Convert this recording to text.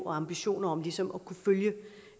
og ambitioner om ligesom